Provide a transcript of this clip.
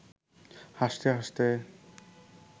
হাসতে হাসতে